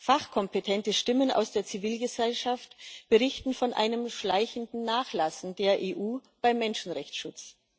Fachkompetente Stimmen aus der Zivilgesellschaft berichten von einem schleichenden Nachlassen der EU beim Menschenrechtsschutz.